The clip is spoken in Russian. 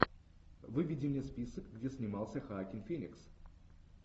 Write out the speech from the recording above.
выведи мне список где снимался хоакин феникс